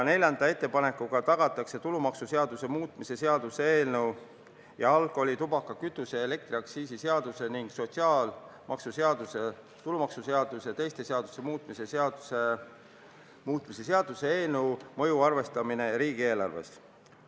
Neljanda ettepanekuga tagatakse tulumaksuseaduse muutmise seaduse eelnõu ja alkoholi-, tubaka-, kütuse- ja elektriaktsiisi seaduse ning sotsiaalmaksuseaduse, tulumaksuseaduse ja teiste seaduste muutmise seaduse muutmise seaduse eelnõu mõju arvestamine riigieelarves.